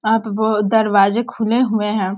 वहाँ पे बहुत दरवाजें खुले हुए है।